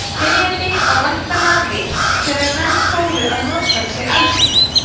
spyrjandi á væntanlega við hvenær menn fóru að notfæra sér eldinn